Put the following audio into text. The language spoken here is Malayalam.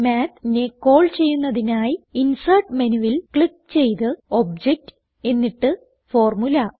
Mathനെ കോൾ ചെയ്യുന്നതിനായി ഇൻസെർട്ട് menuൽ ക്ലിക്ക് ചെയ്ത് ഒബ്ജക്ട് എന്നിട്ട് ഫോർമുല